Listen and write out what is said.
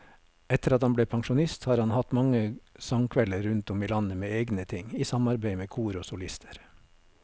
Etter at han ble pensjonist har han hatt mange sangkvelder rundt om i landet med egne ting, i samarbeid med kor og solister.